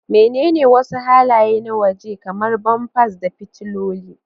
Menene wasu halaye na waje, kamar bumpers da fitiloli?